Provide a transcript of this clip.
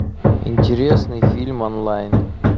интересный фильм онлайн